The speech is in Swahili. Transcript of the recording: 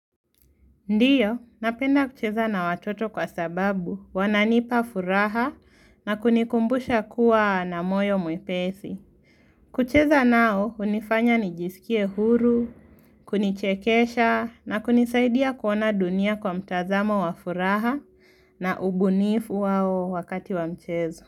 Ndiyo, napenda kucheza na watoto kwa sababu, wananipa furaha na kunikumbusha kuwa na moyo mwepesi. Kucheza nao, hunifanya nijisikie huru, kunichekesha na kunisaidia kuona dunia kwa mtazamo wa furaha na ubunifu wao wakati wa mchezo.